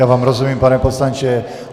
Já vám rozumím, pane poslanče.